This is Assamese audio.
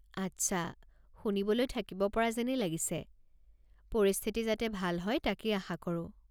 আচ্ছা, শুনিবলৈ থাকিব পৰা যেনেই লাগিছে, পৰিস্থিতি যাতে ভাল হয় তাকেই আশা কৰো।